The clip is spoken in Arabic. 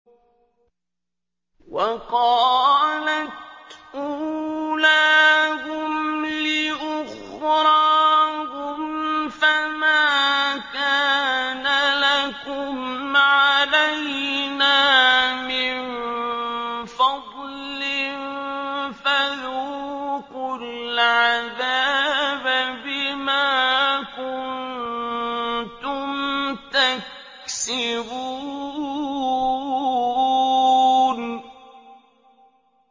وَقَالَتْ أُولَاهُمْ لِأُخْرَاهُمْ فَمَا كَانَ لَكُمْ عَلَيْنَا مِن فَضْلٍ فَذُوقُوا الْعَذَابَ بِمَا كُنتُمْ تَكْسِبُونَ